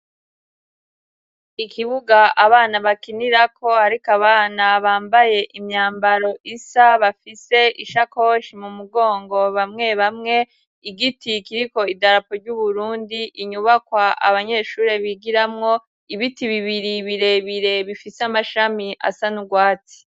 Ikibuga abana bakinirako ariko abana bambaye imyambaro isa, bafise ishakoshi mu mugongo bamwe bamwe igiti kiriko idarapo ry'Uburundi inyubakwa abanyeshure bigiramwo ibiti bibiri bire bire bifise amashami asa n'urwatsi.